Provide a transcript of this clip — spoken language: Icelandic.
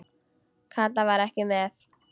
Kata var ekki með.